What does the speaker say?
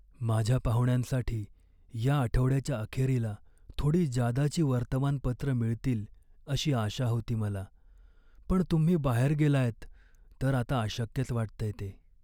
माझ्या पाहुण्यांसाठी या आठवड्याच्या अखेरीला थोडी जादाची वर्तमानपत्रं मिळतील अशी आशा होती मला, पण तुम्ही बाहेर गेलायत तर आता अशक्यच वाटतंय ते.